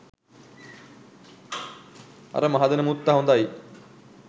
අර මහදැන මුත්ත හොඳයි.